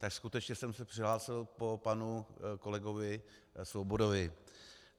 Tak skutečně jsem se přihlásil po panu kolegovi Svobodovi.